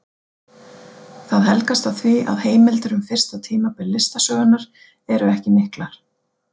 Það helgast af því að heimildir um fyrsta tímabil listasögunnar eru ekki miklar.